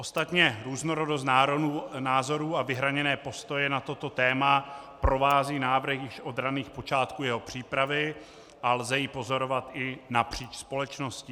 Ostatně různorodost názorů a vyhraněné postoje na toto téma provází návrh již od raných počátků jeho přípravy a lze je pozorovat i napříč společností.